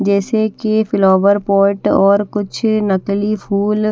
जैसे कि flower pot और कुछ नकली फुल--